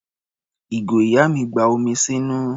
Ìgò ìyá mi gba omi sínú.